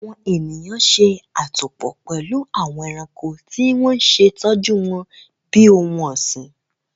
Awọn eniyan ṣe atopọ pẹlu awọn ẹranko ti wọn ṣe tọju wọn bi ohun ọsin